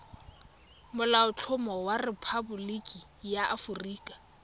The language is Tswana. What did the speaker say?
molaotlhomo wa rephaboliki ya aforika